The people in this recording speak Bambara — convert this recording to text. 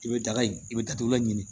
I bɛ daga in i bɛ datugulan ɲini